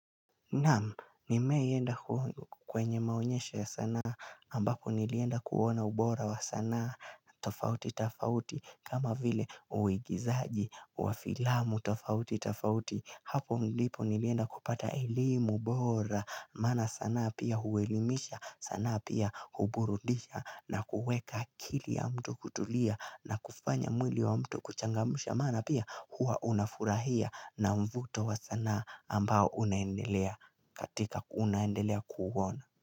Namu, nimewaienda kwenye maonyesho ya sanaa, ambapo nilienda kuona ubora wa sanaa, tofauti, tafauti, kama vile uigizaji wa filamu, tofauti, tafauti, hapo ndipo nilienda kupata elimu, bora, maana saana pia huelimisha, sana pia huburudisha, na kuweka akili ya mtu kutulia, na kufanya mwili wa mtu kuchangamsha, maana pia hua unafurahia, na mvuto wa saana ambao unaendelea. Katika kuunaendelea kuona.